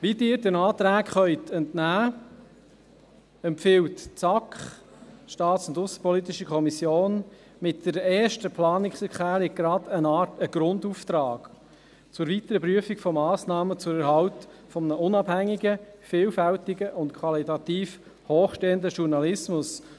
Wie Sie den Anträgen entnehmen können, empfiehlt die SAK, die Kommission für Staatspolitik und Aussenbeziehungen, mit der ersten Planungserklärung gleich eine Art Grundauftrag zur weiteren Prüfung von Massnahmen zwecks Erhalts eines unabhängigen, vielfältigen und qualitativ hochstehenden Journalismus.